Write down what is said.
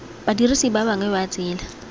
badirisi ba bangwe ba tsela